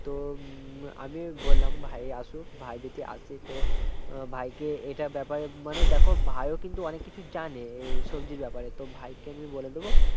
তো আমি বললাম ভাই আসুক ভাই যদি আসে তো ভাই কে এটার ব্যাপারে মানে দেখো ভাই ও কিন্তু অনেক কিছু জানে এই সবজির ব্যাপারে তো ভাই কে আমি বলে দেব